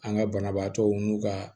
An ka banabaatɔw n'u ka